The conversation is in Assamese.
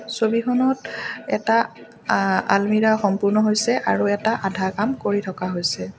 ছবিখনত এটা অ আলমিৰা সম্পূৰ্ণ হৈছে আৰু এটা আধা কাম কৰি থকা হৈছে।